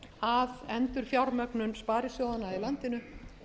að endurfjármögnun sparisjóðanna í landinu